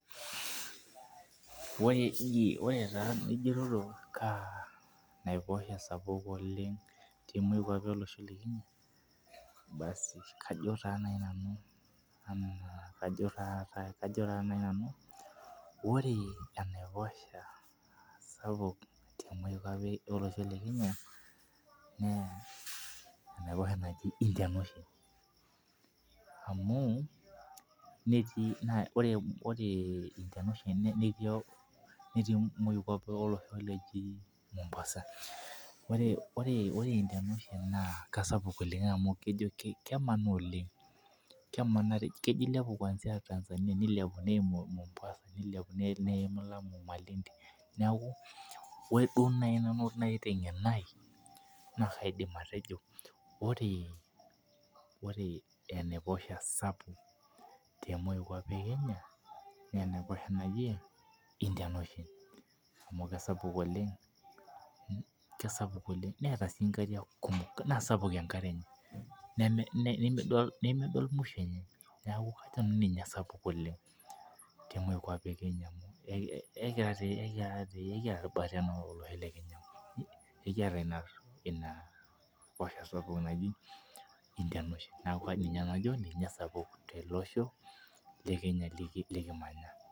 Ore taa enijitoto kaa naiposho esapuk temokwapi olosho le Kenya basi kajo nanu. Kajo nanu ore enaiposha sapuk temoi kwapi olosho le Kenya na keji indian ocean amu netii moikwapi olosho oji mombasa ore Indian ocean na kesapuk oleng amu kemanaa oleng kemanari kejo aimu tanzania neimu mombasa neimu malindi neaku orw duo nai namu tengeno aai ore enaposha sapuk temoi kwapi ekenya na indian ocean amu kesapuk oleng kesapuk newta nkariak kumok nimidol muisho enye kajo nanu ninye esapuk oleng tumoi kwapi ekenya ekiata inaiposha sapuk naji indian ocean kaidim atejo ninye esapuk teleosho lekenya likimanya.